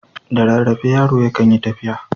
Da rarrafe yaro yakan yi tafiya.